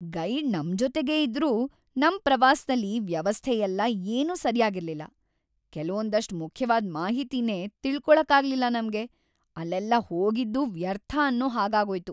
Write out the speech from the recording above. Guide ನಮ್ಜೊತೆಗೇ ಇದ್ರೂ ನಮ್‌ ಪ್ರವಾಸ್ದಲ್ಲಿ ವ್ಯವಸ್ಥೆಯೆಲ್ಲ ಏನೂ ಸರ್ಯಾಗಿರ್ಲಿಲ್ಲ. ಕೆಲ್ವೊಂದಷ್ಟ್ ಮುಖ್ಯವಾದ್‌ ಮಾಹಿತಿನೇ ತಿಳ್ಕೊಳಕ್ಕಾಗ್ಲಿಲ್ಲ ನಮ್ಗೆ, ಅಲ್ಲೆಲ್ಲ ಹೋಗಿದ್ದೂ ವ್ಯರ್ಥ ಅನ್ನೋ ಹಾಗಾಗೋಯ್ತು.